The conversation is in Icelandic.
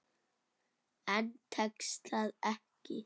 En tekst það ekki.